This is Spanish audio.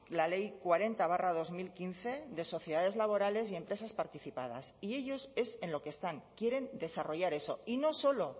la ley cuarenta barra dos mil quince de sociedades laborales y empresas participadas y ellos es en lo que están quieren desarrollar eso y no solo